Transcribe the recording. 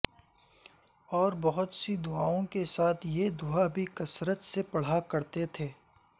اور بہت سی دعاوں کے ساتھ یہ دعابھی کثرت سے پڑھا کرتے تھے